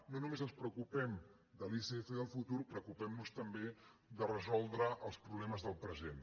no només ens preocupem de l’icf del futur preocupem nos també de resoldre els problemes del present